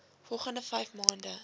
volgende vyf maande